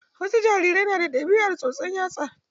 Wasu jarirai na da ɗabiar tsotsan yatsa.